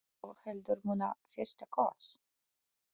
Má ég þá heldur muna FYRSTA KOSS.